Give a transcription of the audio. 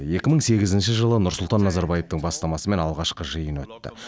екі мың сегізінші жылы нұрсұлтан назарбаевтың бастамасымен алғашқы жиын өтті